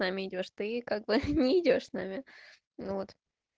как бы не идёшь с нами вот